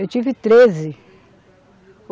Eu tive treze.